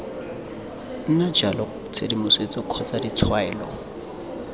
nna jalo tshedimosetso kgotsa ditshwaelo